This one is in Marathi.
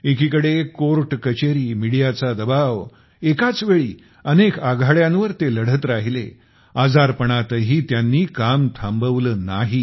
एकीकडे कोर्ट कचेरी मिडीयाचा दबाव एकाच वेळी अनेक आघाड्यांवर ते लढत राहिले आजारपणातही त्यांनी काम थांबवले नाही